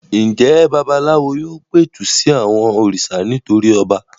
Ǹjẹ́ babaláwo yóò pẹ̀tù sí àwọn òrìṣà nítorí ọba?